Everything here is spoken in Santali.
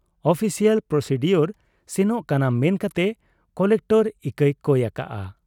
ᱚᱯᱷᱥᱤᱭᱟᱞ ᱯᱨᱚᱥᱤᱰᱤᱭᱳᱨ ᱥᱮᱱᱚᱜ ᱠᱟᱱᱟ ᱢᱮᱱᱠᱟᱛᱮ ᱠᱚᱞᱮᱠᱴᱚᱨ ᱤᱠᱟᱹᱭ ᱠᱚᱭ ᱟᱠᱟᱜ ᱟ ᱾